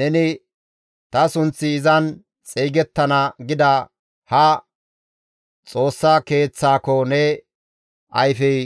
Neni, ‹Ta sunththi izan xeygettana› gida haa Xoossa Keeththaako ne ayfey